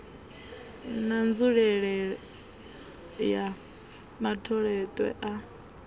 na nzulelele ya matholetwe a